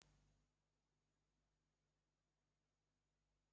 Akwụkwọ nsó ndị ụka Kraịst bú baibulu.